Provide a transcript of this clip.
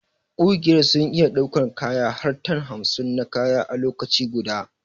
Ƙugiyar sun iya daukar kaya har tan hamsin na kaya a lokaci guda.